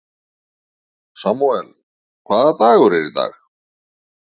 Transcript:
Samúel, hvaða dagur er í dag?